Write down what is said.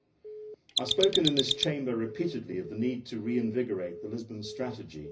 I have spoken in this Chamber repeatedly of the need to reinvigorate the Lisbon strategy